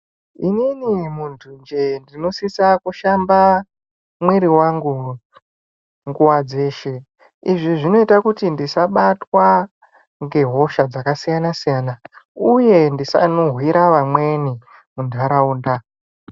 Inin muntu njee ndinosise kushamba muwiri wangu nguva dzeshe izvi zvinoita kuti ndisabatwa nehosha dzakasiyana siyana uye ndisanhuwira wamweni munharaunda.